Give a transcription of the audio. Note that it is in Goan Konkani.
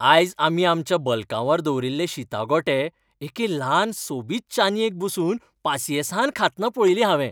आयज आमी आमच्या बलकांवार दवरिल्ले शीता गोटे एके ल्हान सोबीत चानयेक बसून पासियेंसान खातना पळयली हांवें.